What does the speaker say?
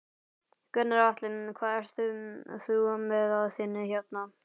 Gunnar Atli: Hvað ert þú með á þinni hérna?